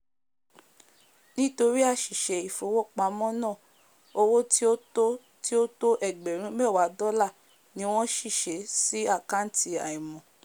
nítorí àsìse ìfowópámó ná owó tí ó tó tí ó tó ẹgbèrún méwàá dólà ni wón ṣìse sí àkàntì àìmò